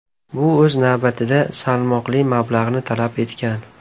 Bu, o‘z navbatida, salmoqli mablag‘ni talab etgan.